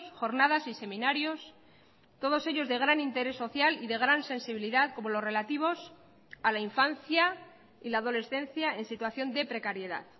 jornadas y seminarios todos ellos de gran interés social y de gran sensibilidad como los relativos a la infancia y la adolescencia en situación de precariedad